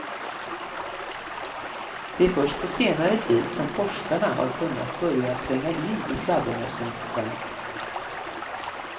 Det är först på senare tid som forskarna har kunnat börja tränga in i fladdermössens värld.